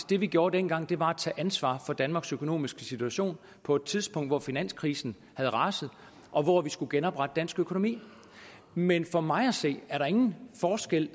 det vi gjorde dengang var at tage ansvar for danmarks økonomiske situation på et tidspunkt hvor finanskrisen havde raset og hvor vi skulle genoprette dansk økonomi men for mig at se er der ingen forskel